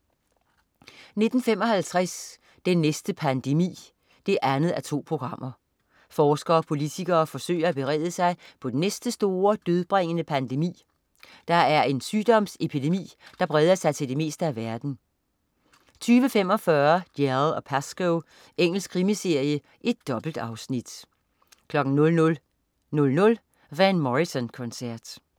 19.55 Den næste pandemi 2:2. Forskere og politikere forsøger at berede sig på den næste store, dødbringende pandemi, der er en sygdomsepidemi, der breder sig til det meste af verden 20.45 Dalziel & Pascoe. Engelsk krimiserie. Dobbeltafsnit 00.00 Van Morrison-koncert